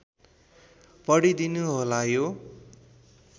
पढिदिनु होला यो